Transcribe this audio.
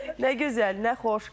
Nə gözəl, nə xoş.